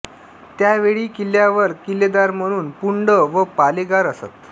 त्यावेळी किल्ल्यावर किल्लेदार म्हणून पुंड व पालेगार असत